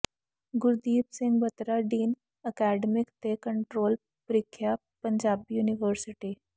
Gurdeep Singh Batra dean academic ਤੇ controller ਪ੍ਰੀਖਿਆ Punjabi university